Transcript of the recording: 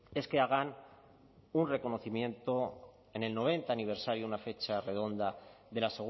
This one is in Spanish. es que hagan un reconocimiento en el noventa aniversario una fecha redonda de la